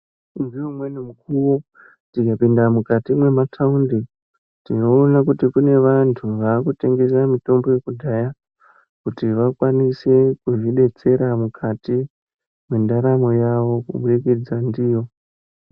Ngeumweni mukuwo tikapinde mukati memataundi tinoona kuti kune vantu vakutengese mitombo yekudhaya kuti vakwanise kuzvidetsera mukati mwendaramo yavo kubudikidza ndiyo.